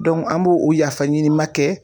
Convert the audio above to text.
an b'o o yafaɲinima kɛ